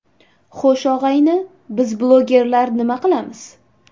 Xo‘sh, og‘ayni, biz blogerlar nima qilamiz?